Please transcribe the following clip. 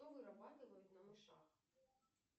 кто вырабатывает на мышах